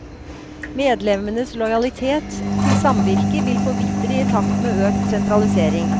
Medlemmenes lojalitet til samvirket vil forvitre i takt med økt sentralisering.